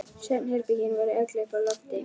Svefnherbergin voru öll uppi á lofti.